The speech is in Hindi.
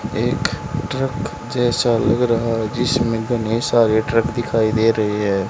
एक ट्रक जैसा लग रहा है जिसमें इतने सारे ट्रक दिखाई दे रहे हैं।